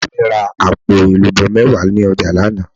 Ìyá mi ra àpò èlùbó méwàá ni ojà lánàá